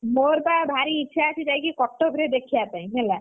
ମୋର ବା ଭାରି ଇଚ୍ଛା ଅଛି ଯାଇକି କଟକରେ ଦେଖିବା ପାଇଁ ହେଲା,